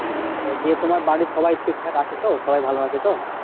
দিয়ে তোমার বাড়ির সবাই ঠিকঠাক আছে তো? সবাই ভালো আছে তো?